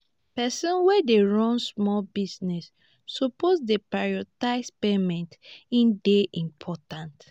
pesin wey dey run small business suppose dey prioritize payments e dey important.